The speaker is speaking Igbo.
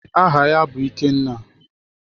Aha ya bụ Ikenna.